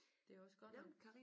Det også godt at